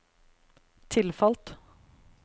tilfalt